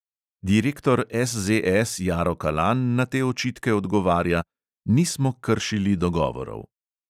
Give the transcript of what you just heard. Direktor SZS jaro kalan na te očitke odgovarja: "nismo kršili dogovorov."